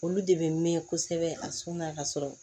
Olu de bɛ mɛn kosɛbɛ a sɔnna ka sɔrɔ